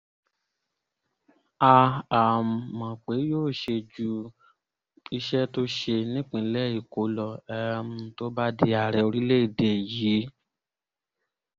a um mọ̀ pé yóò ṣe ju iṣẹ́ tó ṣe nípínlẹ̀ èkó lọ um tó bá di ààrẹ orílẹ̀‐èdè yìí